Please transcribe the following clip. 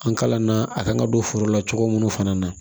An kalanna a kan ka don foro la cogo minnu fana na